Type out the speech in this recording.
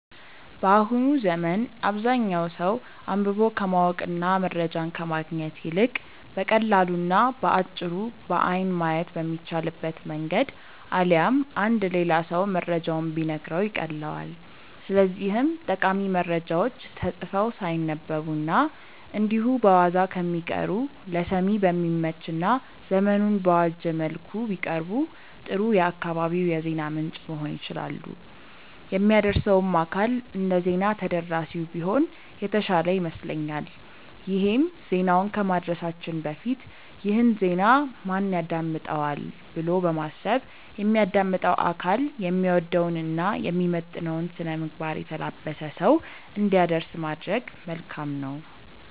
በአሁኑ ዘመን አብዛኛው ሰው አንብቦ ከማወቅ እና መረጃን ከማግኘት ይልቅ በቀላሉ እና በአጭሩ በአይን ማየት በሚቻልበት መንገድ አሊያም አንድ ሌላ ሰው መረጃውን ቢነግረው ይቀልለዋል። ስለዚህም ጠቃሚ መረጃዎች ተጽፈው ሳይነበቡ እና እንዲሁ በዋዛ ከሚቀሩ ለሰሚ በሚመች እና ዘመኑን በዋጀ መልኩ ቢቀርቡ ጥሩ የአካባቢው የዜና ምንጭ መሆን ይችላሉ። የሚያደርሰውም አካል እንደዜና ተደራሲው ቢሆን የተሻለ ይመስለኛል ይሄም ዜናውን ከማድረሳችን በፊት "ይህን ዜና ማን ያዳምጠዋል?'' ብሎ በማሰብ የሚያዳምጠው አካል የሚወደውን እና የሚመጥነውን ስነምግባር የተላበሰ ሰው እንዲያደርስ ማድረግ መልካም ነው።